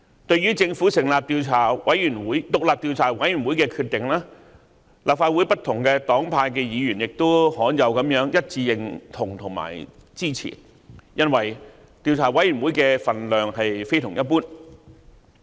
對於政府成立獨立調查委員會的決定，立法會不同黨派的議員亦罕有地一致認同及支持，因為調查委員會的分量非同一般。